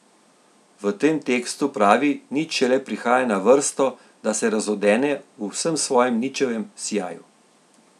V tem tekstu pravi nič šele prihaja na vrsto, da se razodene v vsem svojem ničevem sijaju.